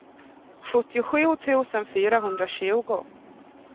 sjuttiosju tusen fyrahundratjugo